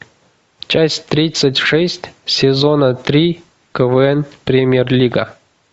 часть тридцать шесть сезона три квн премьер лига